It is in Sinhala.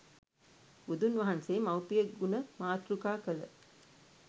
බුදුන් වහන්සේ මව්පිය ගුණ මාතෘකා කළ